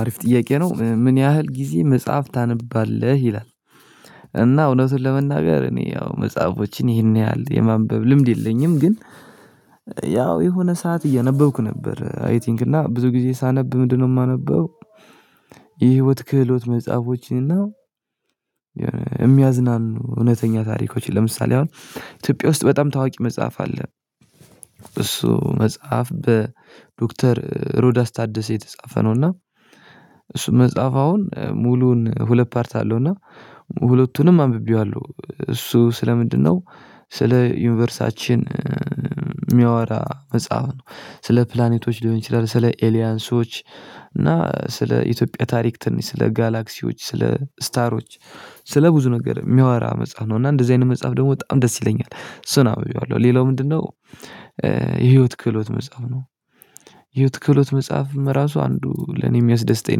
አሪፍ ጥያቄ ነው ምን ያህል ጊዜ መጽሐፍ ታነባለህ? ይላል እና እውነቱን ለመናገር እኔ ያው መጽሐፎችን ይህን ያህል የማንበብ ልምድ የለኝም ግን ያው የሆነ ሰዓት እያነበብኩ ነበር አይ ቲንክ እና ብዙ ጊዜ ሳነብ ምንድነው የማነበው የህይወት ክህሎት መጽሐፎችንና እውነተኛ ታሪኮች ለምሳሌ አሁን ኢትዮጵያ ውስጥ በጣም ታዋቂ መጽሐፍ አለ እሱ መጽሐፍ በዶክተር ዶክተር ሮዳስ ታደሰ የተጻፈ ነው እና እሱ መጽሐፍ አሁን ሙሉውን ሁለት ፓርት አለው እና ሁለቱንም አንብቤዋለሁ እሱ ስለ ምንድነው ስለ ዩኒቨርሳችን የሚያወራ መጽሐፍ ነው ስለ ፕላኔቶች ሊሆን ይችላል ስለ ኤሊያንሶች እና ስለ ኢትዮጵያ ታሪክ ትንሽ ስለ ጋላክሲዎች ስለ ስታሮች ስለ ብዙ ነገር የሚያወራ መጽሐፍ ነው እና እንደዚህ አይነት መጽሐፍ ደግሞ በጣም ደስ ይለኛል እሱን አንብቤዋለሁ ሌላው ምንድነው የህይወት ክህሎት መጽሐፍ ነው የህይወት ክህሎት መጽሐፍም ራሱ አንዱ ለኔ የሚያስደስተኝ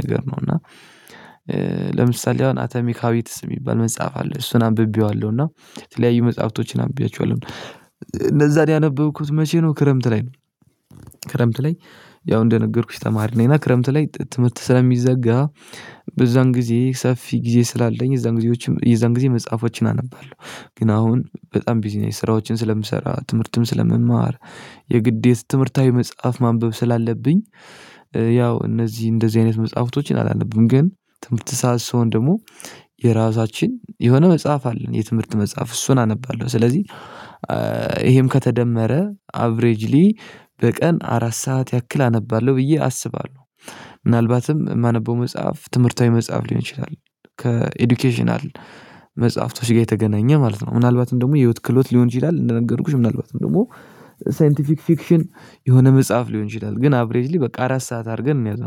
ነገር ነው እና ለምሳሌ አሁን አቶሚካዊትስ የሚባል መጽሐፍ አለው እሱን አንብቤዋለሁ እና የተለያዩ መጽሐፍቶችን አንብቤያችኋለሁ እነዛን ያነበብኩት መቼ ነው ክረምት ላይ ነው ላይ ያው እንደነገርኩሽ ተማሪ ነኝ እና ክረምት ላይ ትምህርት ስለሚዘጋ በዛን ጊዜ ሰፊ ጊዜ ስላለኝ እዛን ጊዜዎችም እዛን ጊዜ መጽሐፎችን አነባለሁ ግን አሁን በጣም ቢዝነስ ስራዎችን ስለምሰራ ትምህርትም ስለምማር የግዴታ ትምህርታዊ መጽሐፍ ማንበብ ስላለብኝ ያው እነዚህ እንደዚህ አይነት መጽሐፍቶችን አላለብም ግን ትምህርት ሰዓት ስሆን ደግሞ የራሳችን የሆነ መጽሐፍ አለን የትምህርት መጽሐፍ እሱን አነባለሁ ስለዚህ ይሄም ከተደመረ አብሬጅሊ በቀን አራት ሰዓት ያክል አነባለሁ ብዬ አስባለሁ ምናልባትም የማነበው መጽሐፍ ትምህርታዊ መጽሐፍ ሊሆን ይችላል ከኤዱኬሽናል መጽሐፍቶች ጋር የተገናኘ ማለት ነው ምናልባት ደግሞ የህይወት ክህሎት ሊሆን ይችላል እንደነገርኩሽ ምናልባትም ደግሞ ሳይንቲፊክ ፊክሽን የሆነ መጽሐፍ ሊሆን ይችላል ግን አብሬጅሊ በቃ አራት ሰዓት አድርገን እንያዙ